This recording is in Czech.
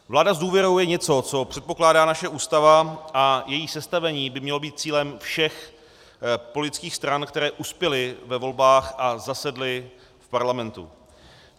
Vláda s důvěrou je něco, co předpokládá naše Ústava, a její sestavení by mělo být cílem všech politických stran, které uspěly ve volbách a zasedly v parlamentu.